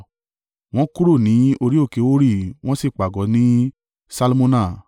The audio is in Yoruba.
Wọ́n kúrò ní orí òkè Hori, wọ́n sì pàgọ́ ní Salmona.